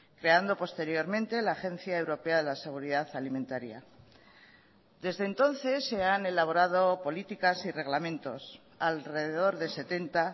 creando posteriormente la agencia europea de la seguridad alimentaria desde entonces se han elaborado políticas y reglamentos alrededor de setenta